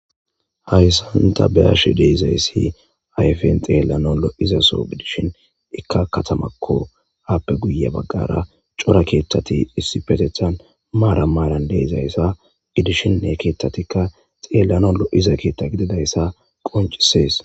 Hayssanta beashe deizayssi ayfen xeellano lo'izaso gidishin ikka katamakko aappe guye baggara cora keethtati issipetethan maara maaran deizayssa gidishine keettatikka xeellano lo'iza keetta gididayssa qoncisees.